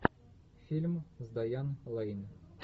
фильм с дайан лэйн